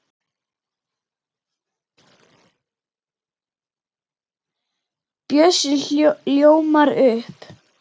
Bjössi ljómar upp.